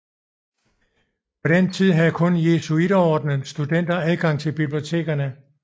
På den tid havde kun Jesuiterordenens studenter adgang til bibliotekerne